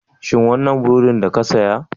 Shin wannan burodin da ka saya?